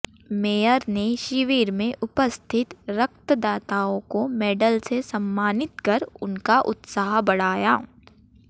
mayor ने शिविर में उपस्थित रक्तदाताओं को मेडल से सम्मानित कर उनका उत्साह बढ़ाया